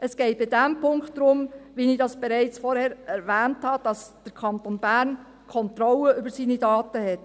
Es geht in diesem Punkt darum, wie ich das bereits vorher erwähnt habe, dass der Kanton Bern Kontrolle über seine Daten hat.